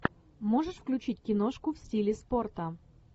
можешь включить киношку в стиле спорта